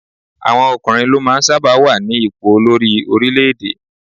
Àwọn ọkùnrin ló máa ń sábà wà ní ipò olórí orílé-èdè